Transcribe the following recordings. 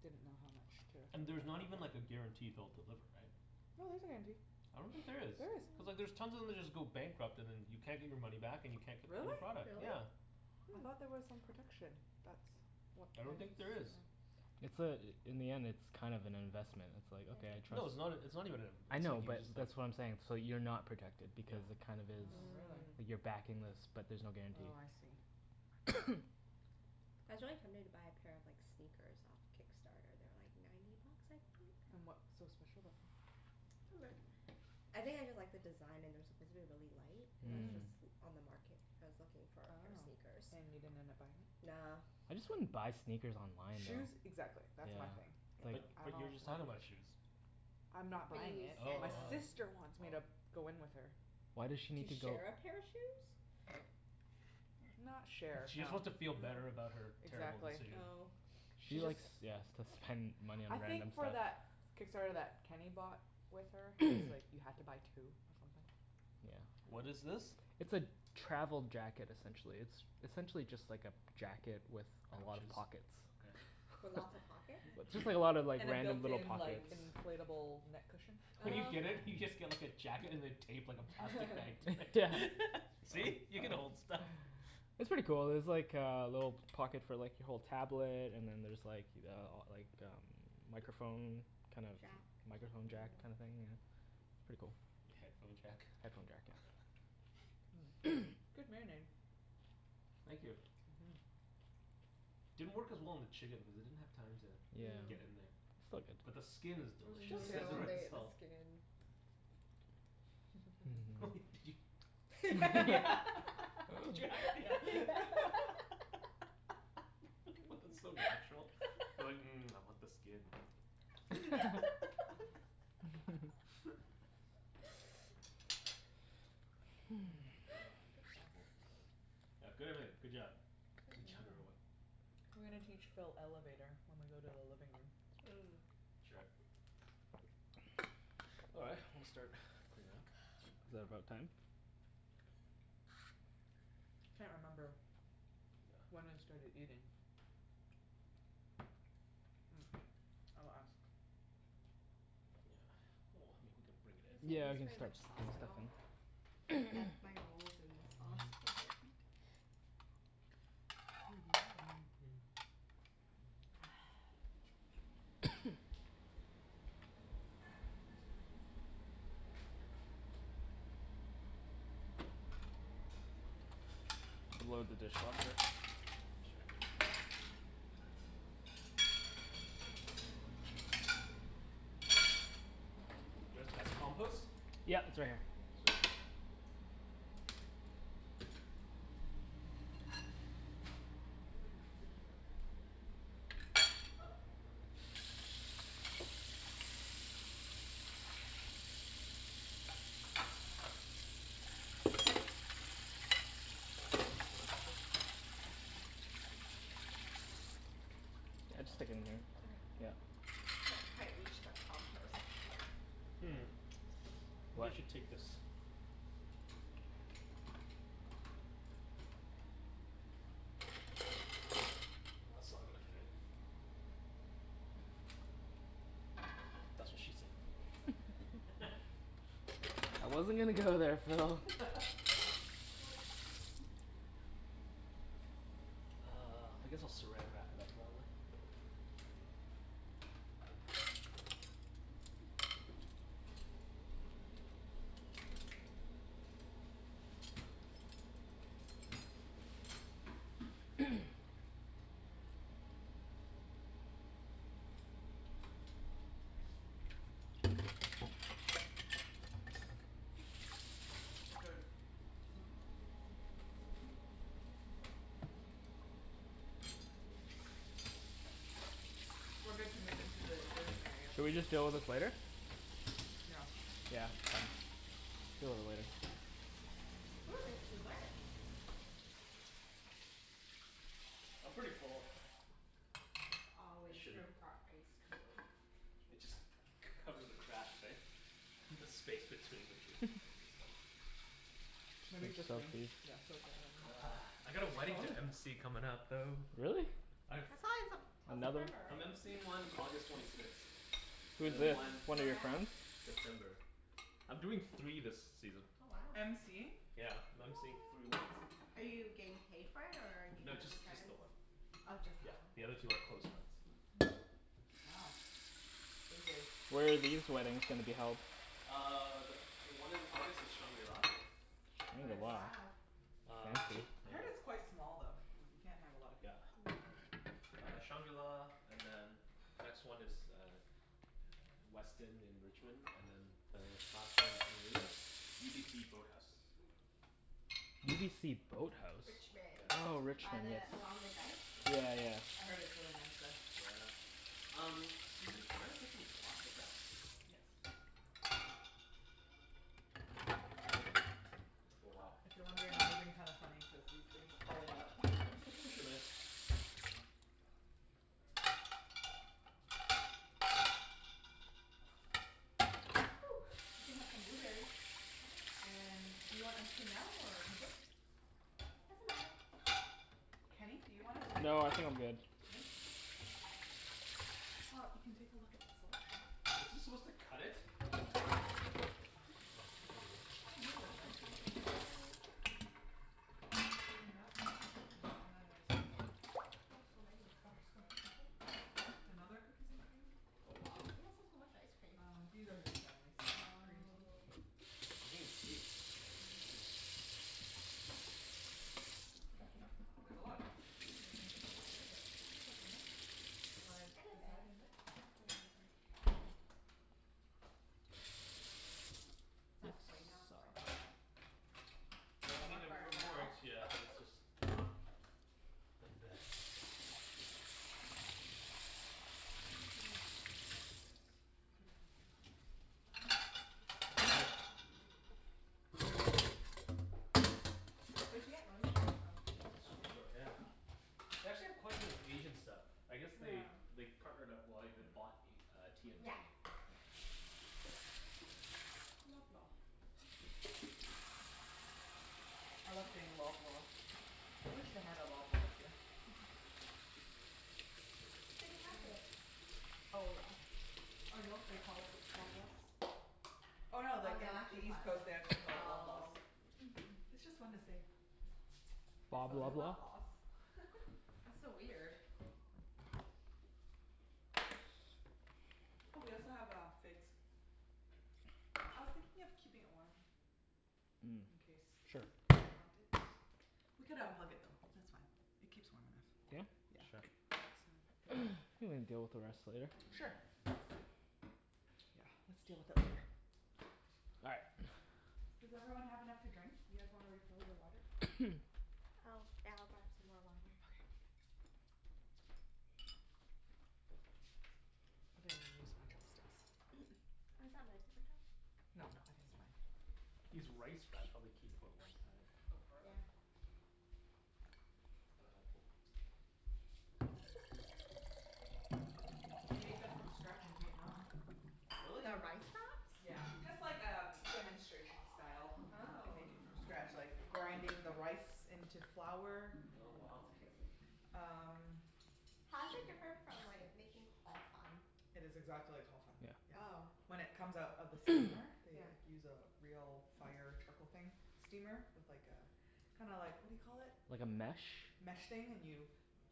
didn't know how much to And there's not even like a guarantee they'll deliver, right? No, there's a guarantee. I don't think there is. There is. Cuz like there's tons of them just go bankrupt and then you can't get your money back and you can't get Really? your product. Really? Yeah. I thought there was some protection, that's what I don't I've think there is. It's uh in the end it's kind of an investment, it's like, "Okay, I'll try- No, it's " not, it's not even an inv- I it's know like, you but that's what I'm saying, just like so you're not protected Yeah because it kind of is, Oh really. you're backing this but there's no guarantee. Oh I see. I was really tempted to buy a pair of like, sneakers off Kickstarter. They were like ninety bucks, I think? And what's so special about them? I think I just like the design and they're supposed to be really light. And that's Mhm. just l- on the market, I was looking for a pair of Oh, sneakers. and you didn't end up buying it? Nah. I just wouldn't buy sneakers online Shoes though. exactly, that's my thing. But, I but you were don't just like talking about shoes. I'm not But buying you it. send Oh. My um sister wants me to go in with her. Why does she To need to go share a pair of shoes? Not share, She just no. wants to feel better about her terrible Exactly. decision. Oh. She likes, yeah, s- to spend money I on random think for stuff. that Kickstarter that Kenny bought with her, cuz like you have to buy two or something. What Yeah. is this? It's a travel jacket essentially. It's essentially just like a jacket with a lot of Pouches? pockets. Okay. With lots of pockets? Just like, just like a lot of like, And the random built little in pockets. like inflatable neck cushion? When you Oh get it, you just okay. get like a jacket and they tape like a plastic bag like yeah, see? You can hold stuff. It's pretty cool. There's like uh a little pocket for like, you hold tablet and then there's like uh like um microphone kind of Jack? Microphone jack kinda thing yeah. Pretty cool. A headphone jack? Headphone jacked, yeah. Good marinade. Thank you. Mhm. Didn't work as well on the chicken because it didn't have time to Yeah. get in there. Still But the good. skin is Mm, delicious. It and I has want more to eat the salt. skin. Did you Did you Yeah What the, so natural, you're like, "Mmm, I want the skin." Ah, so full. Yeah, good everything, good job. Good job everyone. We're gonna teach Phil Elevator when we go to the living room. Mm. Sure. All right, I'm gonna start cleaning up. Is that about time? Can't remember When we Yeah. started eating. I'll ask. Yeah, well, I mean we could You bring it in. guys didn't Yeah, we use can very start much to bring sauce at stuff all. in. I dunked my rolls in the sauce, they're like Are you done with your cutleries? Yeah, thank We'll you. load the dishwasher. I'm so full. Just, that's compost? I haven't Yeah, had, it's right eaten this much here. Sweet. food in days. Mm. Trying to pace myself the whole time like, don't Hopefully your stomach overeat, is don't okay. overeat. Well, I didn't eat anything like spicy so. Mm mhm. Just stick it in there. Yep. Okay. I can't quite reach the compost. Hmm, maybe I should take this. Well, that's not gonna fit. That's what she I said. think we could leave out the veggies and stuff in case they want some I wasn't gonna afterwards go so there, Oh We Phil. okay. can just clean our own plates and we'll do the dishes later. No big deal. Uh, I guess I'll saran wrap it up probably. Shall I leave the chicken as well? Yeah, sure. We're good to move into the living area. Should we just deal with this later? Yeah. Yeah, it's fine. We'll deal with it later. Ooh, there's dessert! I'm pretty full. There's always room for ice cream. It just, cover the cracks, right, the space between the food. Should Maybe we just soak rinse, these? yeah soak that Ugh, I right got in. a Whose wedding phone to is MC comin' that? up, though. Really? I thought it was a, till September, I'm right? MCing one August twenty sixth, and Who's then this? one One Where of your at? friends? September. I'm doing three this season. Oh wow. MCing? Yeah, I'm MCing three weddings. Are you getting paid for it or are you No, doing it just, for just the friends? one. Oh just Yeah, that one. the other two are close friends. Wow. Busy. Where are these weddings gonna be held? Uh the, the one in August is shangri-la. Mm Nice. wow. Uh I heard it's quite small though, like you can't have a lot of Yeah. people. Uh shangri-la and then next one is uh Westin in Richmond and then uh last one is UBC boathouse. UBC boathouse? Yeah, Richmond. it's Oh in By Richmond, yes. the, along the Rich- dike? Yeah yeah. I heard it's really nice there. Yeah. Um, Susie, can I get some plastic wrap? Yes. Oh wow. If you're wondering, I'm moving kinda funny cuz these things are falling out. Here, just push'em in. We can have some Woo! blueberries. And do you want ice cream now or in a bit? Doesn't matter. Kenny, do I you want ice can wait. cream? No, I think I'm good. Good? Okay. Well, you can take a look at the Is this supposed selection. to cut it? Oh, there we go. Oh here's the shrimp. Cookies n cream. And then there's Oh so many Butterscotch maple? Another cookies n cream Oh wow. Why do you guys have so much ice cream Um these are his family's. Green tea. Oh. Green tea? Whoa. I'ma try this. Oh, there's a lot of cookies n cream, this one's a bit lighter but there's still so much. You wanna In a bit, decide in a bit? I'll do it in a bit. What's that plate out for? Oh, it Well, I doesn't mean it work wor- very it well. works yeah, it was just not the best. Where should I be, just put it in the containers. Where d'you get lemongrass from, Superstore? Superstore, yeah. They actually have quite a bit of Asian stuff. I guess they they partnered up, well, they bought a uh T&T. Yeah, yeah. Loblaw. I love saying Loblaw. I wish they had a Loblaws here. City Market. Oh yeah. Or No They Frills. call it Loblaws? Oh Oh no they, no in actually East Coast they actually call it Loblaws Oh. It's just fun to say. Let's go to Loblaws. That's so weird. Oh we also have uh figs. I was thinking of keeping it warm in case people want it. We could unplug it though, that's fine. It keeps warm Yeah? enough. Yeah. Sure Think we can deal with the rest later. Sure. Yeah, let's deal with it later. All right. Does everyone have enough to drink? You guys wanna refill your water? Oh, yeah I'll grab some more water. Okay. I didn't use my chopsticks. Oh, is that my paper towel? No I think it's mine. These rice wraps probably keep for a long time. Oh Yeah. forever. Mhm. We made them from scratch in Vietnam. Really? The rice wraps? Yeah, just like um demonstration style. They Oh. make it from scratch like the grinding the rice into flour Oh It's wow. crazy. Um How's it different from like making Ho Fun? It's exactly like Ho Fun, Yeah. yeah. Oh. When it comes out of the steamer, they like use a real fire trickle thing steamer? With like a, kinda like what do you call it? Like a mesh? Mesh thing, and you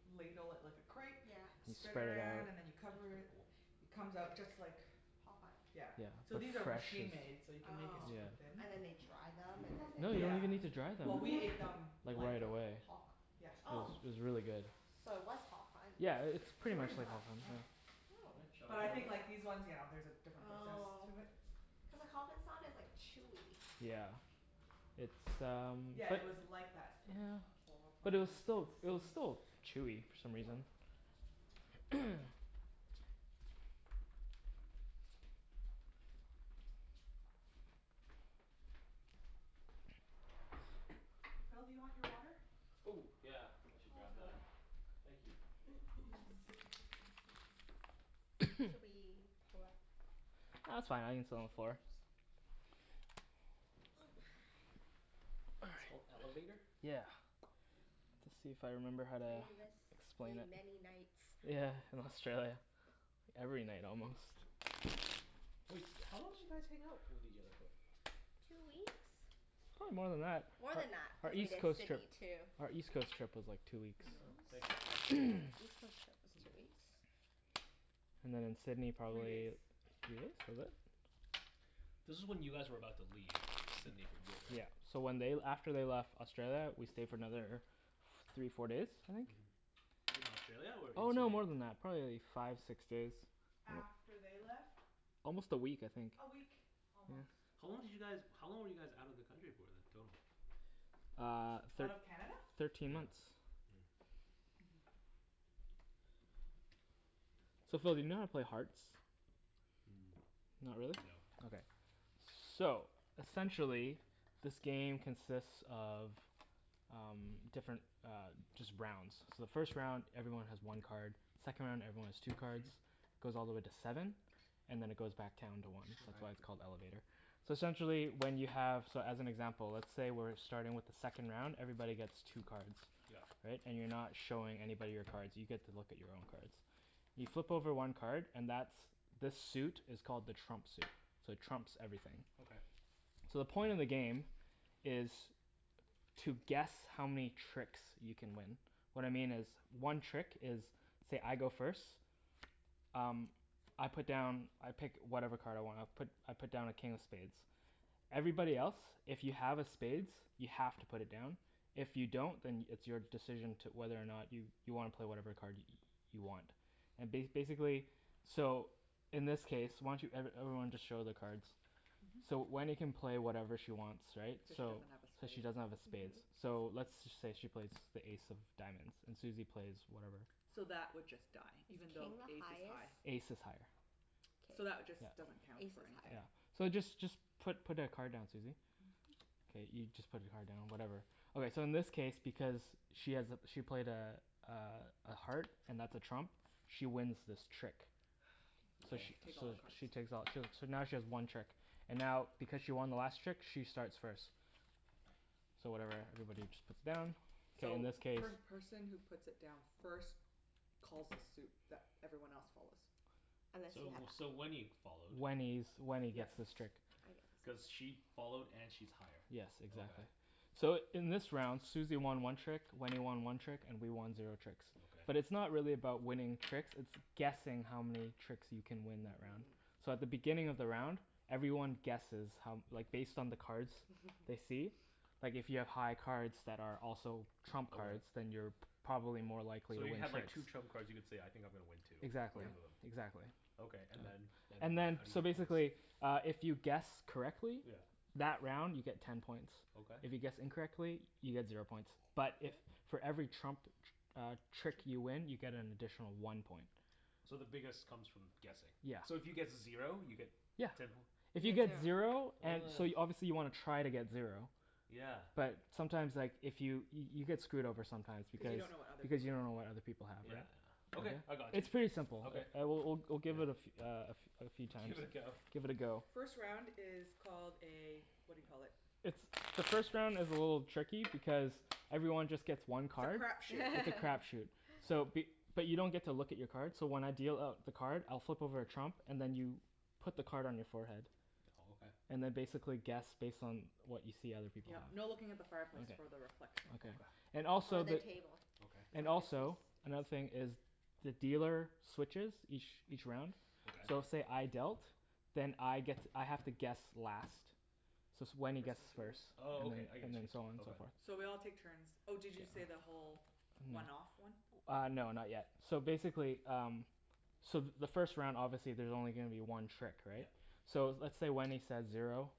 ladle it like a crepe Yeah Spread it around and then you That's cover pretty it, cool it comes out just like Ho Fun? Yeah. So these are machine-made so you can make it Oh. super thin. And then they dry them and then No, you they? don't Yeah. even need to dry them. Well we ate them Like like right away. Ho fun. Yeah It was, Oh. it was really good. So it was Ho Fun. Yeah, it, it's pretty much Pretty like Ho much, yeah. Fun. But Oh. I think like these ones yeah there's a different process Oh. to it. Cuz like Ho Fun's not as like chewy. Yeah, it's um Yeah it was like that Ho Fun But it was still, it was consistency still chewy for some reason. Phil, do you want your water? Oh yeah, I should I'll grab fill it. that Thank you. Should we pull up Ah, that's fine. I can sit on the floor. It's called Elevator? Yeah. Let's see if I remember how to Played this explain game it. many nights Yeah, in Australia. Every night almost. Wait, how long did you guys hang out with each other for? Two weeks? Probably more than that. More than that. Our Cuz we East did Coast trip Sydney too. Our East Coast trip was like two weeks Here you go. Thank you. Yeah. East Coast trip was two weeks. And then in Sydney Three days. probably Three days? Was it? This is when you guys were about to leave Sydney for good, Yeah, so right? when they l- after they left Australia, we stayed for another f- three, four days, I think? Mhm. In Australia or in Oh no, Sydney? more than that. Probably like five, six days. After they left? Almost a week I think. A week, almost. How long did you guys, how long were you guys out of the country for then, total? Uh Out of Canada? Thirteen months. So Phil do you know how to play Hearts? Mm. Not really? No. Okay. So essentially, this game consists of um different uh, just rounds. So the first round everyone has one card, second round everyone has two cards, goes all the way to seven, and then it goes back down to one. That's Okay. why it's called Elevator. So essentially when you have, so as an example let's say we're starting with the second round, everybody gets two cards. Yep. Right? And you're not showing anybody your cards. You get to look at your own cards. You flip over one card and that's, the suit is called the trump suit, so it trumps everything. Okay. So the point of the game is to guess how many tricks you can win. What I mean is one trick is say, I go first, um I put down I pick whatever card I want, I put I put down a King of Spades. Everybody else if you have a spades, you have to put it down, if you don't then it's your decision to, whether or not you you wanna play whatever card you want. And ba- basically so in this case, why don't you, every everyone just show their cards. So Wenny can play whatever she wants right, Cuz she so. doesn't have a Cuz she spade. doesn't have a spades. So let's say she plays the ace of diamonds, and Susie plays whatever. So that would just die, Is even though king the Ace is high. highest? Ace is higher. So that would K. just, doesn't count Ace for is anything. higher. So just just put put a card down, Susie. K, you just put your card down whatever. Okay so in this case because she has a, she played a uh a heart and that's a trump, she wins this trick. I Okay. So take all the cards. she takes all too, so now she has one trick, and now because she won the last trick, she starts first. So whatever everybody just puts down, so in So this case first person who puts it down first calls a suit that everyone else follows. So, so Wenny followed. Wenny's, Wenny gets this trick. Cuz she followed and she's higher. Yes, exactly. Okay. So in this round Susie won one trick, Wenny won one trick and we won zero tricks. But it's Okay. not really about winning tricks, it's guessing how many tricks you can win that round. So at the beginning of the round, everyone guesses how, like based on the cards they see. Like if you have high cards that are also trump cards. Then Okay. you're p- probably more likely to So you win have like tricks. two trump cards, you could say, I think I'm gonna win two. Exactly. Both Yep. of them. Exactly. Okay, and then, then And what? then How do you so get points? basically uh if you guess correctly Yeah. That round you get ten points. Okay. If you guess incorrectly, you get zero points, but if for every trump tr- uh trick you win you get an additional one point. So the biggest comes from guessing. Yeah. So if you get zero you get Yeah. Ten poi If you get zero Oh So you, yeah. obviously you wanna try to get zero. Yeah. But sometimes like, if you, you get screwed over sometimes Cu you because don't know what other Because people you have don't know what other people have, Yeah, right? yeah. Okay, I got you. It's pretty simple. Okay. All right, we'll we'll we'll give it a fe- uh a f- uh a few times. Give it a go. Give it a go. First round is called a what do you call it. The first round is a little tricky because everyone just gets one It's a card. crap shoot. It's a crap shoot. So be- but you don't get to look at your card, so when I deal out the card, I'll flip over a trump and then you put the card on your forehead. Oh okay. And then basically guess based on what you see other people have. Yep, no looking at the fireplace for the reflection. Okay. And Or also the the- table. Okay. And also, another thing is the dealer switches each each round. So Okay. say I dealt, then I get to, I have to guess last. So it's, Wenny guesses first. Oh okay, I And get then, you. and so on and so forth. So we all take turns. Oh did you say the whole one off one? Uh no, not yet. So basically um, so the first round obviously there's only gonna be one trick, right? Yep. So let's say Wenny says zero,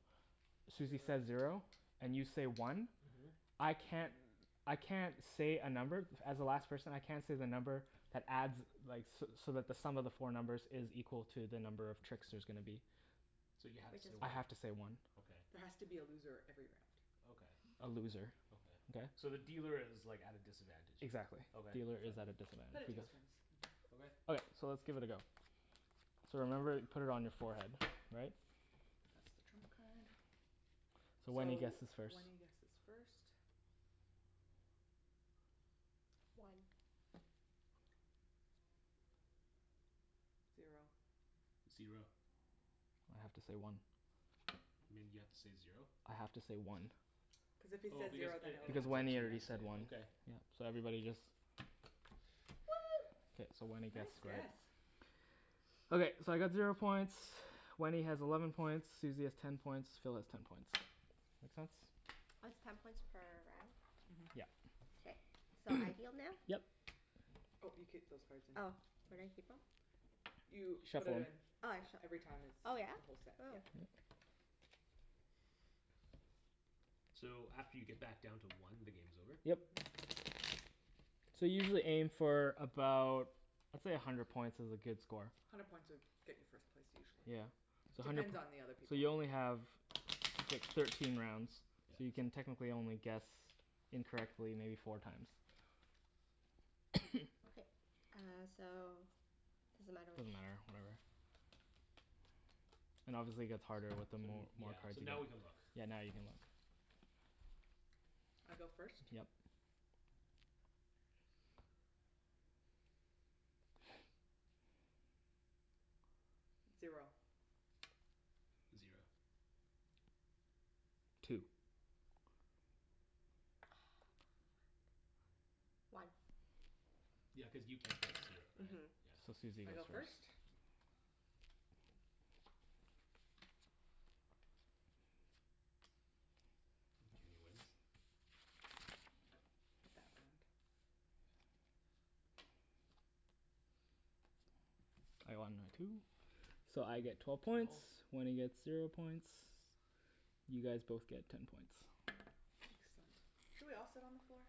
Susie says zero, and you say one. Mhm. I can't, I can't say a number, as the last person I can't say the number that adds like so so that the sum of the four numbers is equal to the number of tricks there's gonna be. So you have to say I one. have to say one. There Okay. has to be a loser every round. Okay. A loser. Okay? Okay. So the dealer is like at a disadvantage. Exactly. Okay. Dealer is at a But it disadvantage. takes turns. Okay. Okay, so let's give it a go. So remember put it on your forehead, all right? That's the trump card. So Wenny So guesses first. Wenny guesses first. One. Zero. Zero. I have to say one. You mean you have to say zero? I have to say one. Cuz if he Oh says because zero then it, it Because adds Wenny one. already up to said one. okay. Yeah, so everybody just One! K, so Wenny Nice gets guess! Okay, so I got zero points, Wenny has eleven points, Susie has ten points, Phil has ten points. Makes sense? It's ten points per round? Mhm. Yep. Okay. So I deal now? Yep. Oh you keep those cards in, Oh where do I mhm. keep em? You put it Shuffle'em. in. Oh I shuff- Every time it's oh from yeah? the whole set, yeah. So after you get back down to one, the game's over? Yep. So usually aim for about, let's say a hundred points is a good score. Hundred points would get you first place usually. Yeah. So hundred Depends p- on the other So people you only have thir- thirteen rounds So you can Yeah. technically only guess incorrectly maybe four times. Okay. Uh so does it matter which Doesn't matter, whatever. And obviously gets harder with the more, Yeah, more cards so you now we can look. get. Yeah, now you can look I go first? Yep. Zero. Zero. Two. One. Yeah, cuz you can't say zero, right? Mhm So Susie I go goes first? first Kenny wins? I won my two. So I get twelve points, Wenny gets zero points, you guys both get ten points. Excellent. Should we all sit on the floor?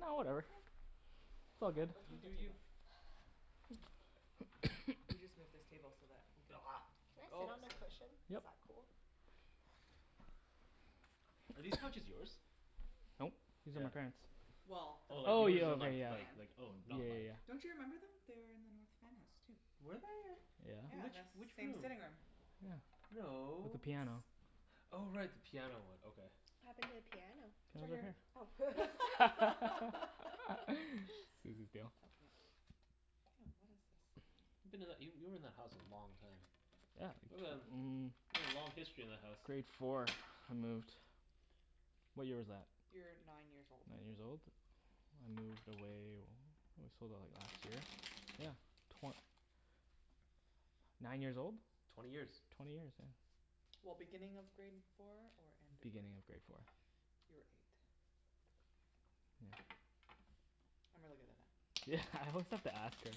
No whatever, it's all good. You do you. We'll just move this table so that we could Can I sit on the cushion? Yep Is that cool? Are these couches yours? Nope, these are my parents'. Well, they're Oh like Oh from yours yeah are ok North like yeah. like Van. like oh Yeah not like yeah yeah. Don't you remember them? They are in the North Van house too. Were they? Yeah, Which, and the Yeah. which same room? sitting room. Yeah. With No. the piano. Oh right. The piano one, okay. What happened to the piano? It's It's right right over Oh here. here. Susie's deal. Oh what is this. You've been that, you, you were in that house for a long time. Yeah, mm. You've got a long history in that house. Grade four, I moved. What year was that? You were nine Nine years years old. old? I moved away, we sold it like last year? Yeah. Twen- nine years old? Twenty years. Twenty years, yeah. Well, beginning of grade four or end of grade Beginning of four? grade four. You were eight. Yeah. I'm really good at that. Yeah, I always have to ask her.